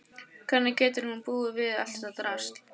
Hvernig getur hún búið við allt þetta drasl?